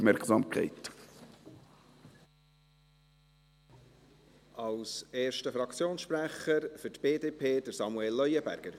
Als erster Fraktionssprecher, für die BDP Samuel Leuenberger.